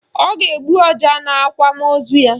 Ọ ga-egbu ọja n'akwamaozu ya